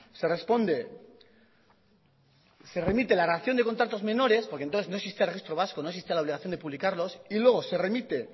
se responde se remite la relación de contratos menores porque entonces no existía el registro vasco no existía la obligación de publicarlos y luego se remite